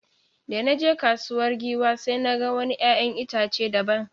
Da na je kasuwar Giwa sai na ga wani ’ya’yan itace daban.